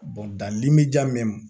dan limeya